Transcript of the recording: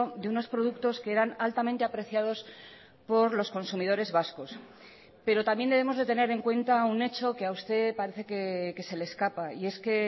de unos productos que eran altamente apreciados por los consumidores vascos pero también debemos de tener en cuenta un hecho que a usted parece que se le escapa y es que